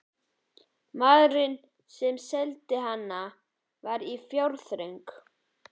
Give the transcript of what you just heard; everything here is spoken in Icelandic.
Maðurinn, sem seldi hana, var í fjárþröng.